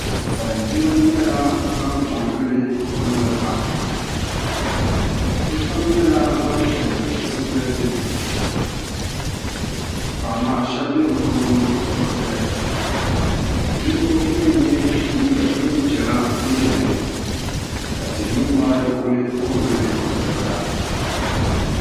Salin gbiribi nyɛla ban ko n gili luɣuli kam bi pam nyɛla ban pili zipili piɛla to amaa shab bɛ bi puuni bibi pili ninvuɣu yino n yɛ neen piɛla n bɛ dinni ka tihi ni mori ku ko n gili luɣuli kam